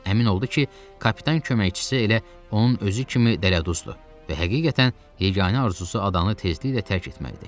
Əmin oldu ki, kapitan köməkçisi elə onun özü kimi dələduzdur və həqiqətən yeganə arzusu adanı tezliklə tərk etməkdir.